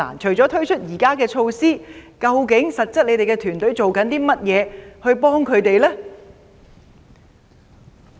除了推出現時的措施外，你的團隊實質做了甚麼幫助他們呢？